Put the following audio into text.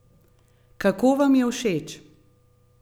Kako vam je všeč?